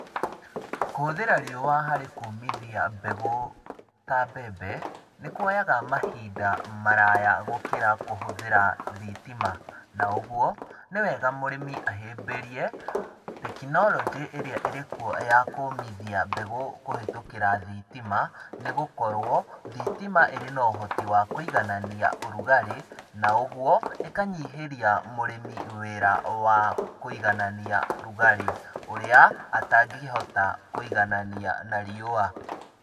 Kũhũthĩra riua harĩ kũmithia mbegũ ta mbembe, nĩ kuoyaga mahinda maraya gũkĩra kũhũthĩra thitima. Na ũguo, nĩ wega mũrĩmi ahĩmbĩrie tekinoronjĩ ĩrĩa ĩrĩ kuo ya kũmithia mbegũ kũhĩtũkĩra thitima, nĩ gũkorwo thitima ĩrĩ na ũhoti wa kuiganania ũrugarĩ na ũguo ĩkanyihĩria mũrĩmi wĩra wa kuiganania rugarĩ ũrĩa atangĩhota kũiganania na riua.